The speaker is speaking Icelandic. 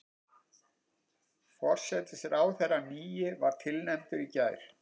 Forsætisráðherrann nýi var tilnefndur í gær